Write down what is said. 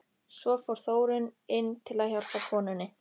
Svo fór Þórunn inn til að hjálpa konunni.